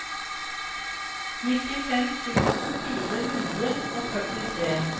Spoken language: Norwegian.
nittifem tusen fire hundre og førtitre